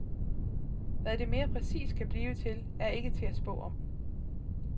Hvad det mere præcist kan blive til, er ikke til at spå om.